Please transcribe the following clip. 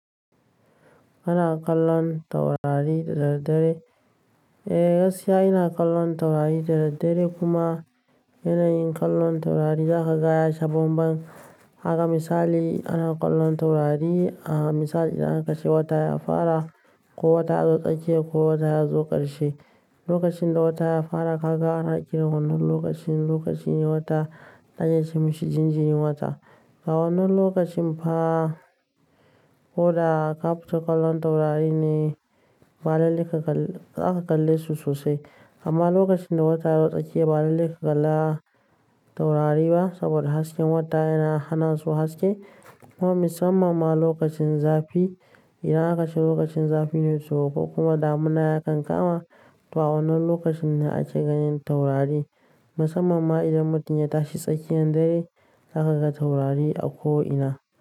Ana kallon taurari da daddare? Eh, gaskiya ina kallon taurari da daddare kuma yanayin kallon taurari zaka gaya shaban. Ban Haka misali ana kallon taurari, a misali idan aka ce wata ya fara ko wata ya zo tsakiya ko wata ya zo ƙarshe. Lokacin da wata ya fara, haka ana kiransa lokacin, lokaci ne wata an yi masa jinjirin wata. A wannan lokacin fa ko da ka fita kallon taurari ne, ba lallen ka ba zaka kalle su sosai. Amma lokacin da wata ya zo tsakiya ba lalle ka kalla taurari ba saboda hasken wata yana hana su haske. Kuma musamman ma lokacin zafi, idan aka ce lokacin zafi ne sosai kuma damuna yakan kama to a wannan lokacin ne ake ganin taurari. Musamman ma idan mutum ya tashi tsakiyar dare zaka ga taurari a ko ina.